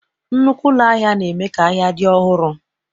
Nnukwu ụlọ ahịa na-eme ka ahịa dị ọhụrụ